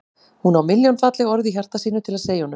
Hún á milljón falleg orð í hjarta sínu til að segja honum.